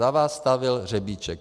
Za vás stavěl Řebíček.